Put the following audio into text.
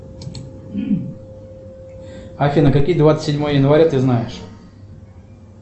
афина какие двадцать седьмое января ты знаешь